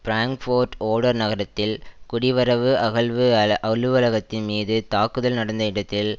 Frankfurt Oder நகரத்தில் குடிவரவுஅகல்வு அலுவலகத்தின் மீது தாக்குதல் நடந்த இடத்தில்